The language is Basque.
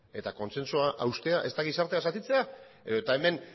eta kontsensua haustea ez da gizartea zatitzea edota hemen